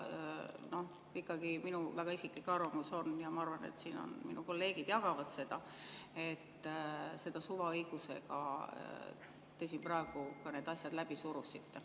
Ja minu isiklik arvamus ikkagi on – ja ma arvan, et mu kolleegid siin jagavad seda –, et suvaõigusega te praegu ka need asjad läbi surusite.